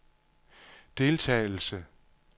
deltagelse